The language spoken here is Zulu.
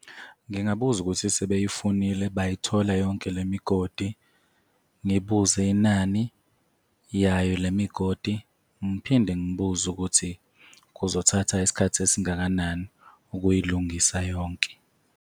Ngingabuza ukuthi sebeyifunile bayithola yonke le migodi, ngibuze inani yayo le migodi, ngiphinde ngibuze ukuthi kuzothatha isikhathi esingakanani ukuyilungisa yonke.